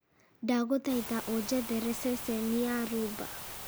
ndagũthaitha ũnjethere ceceni ya rhumba